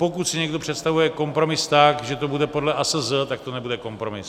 Pokud si někdo představuje kompromis tak, že to bude podle ASZ, tak to nebude kompromis.